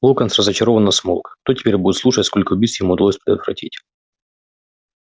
локонс разочарованно смолк кто теперь будет слушать сколько убийств ему удалось предотвратить